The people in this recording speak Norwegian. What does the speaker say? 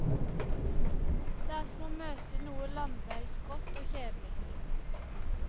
Det er som å møte noe landeveisgrått og kjedelig.